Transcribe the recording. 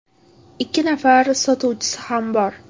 Ikki nafar sotuvchisi ham bor.